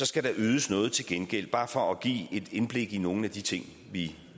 skal der ydes noget til gengæld bare for at give et indblik i nogle af de ting vi